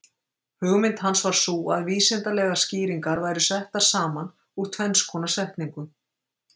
Hugmynd hans var sú að vísindalegar skýringar væru settar saman úr tvenns konar setningum.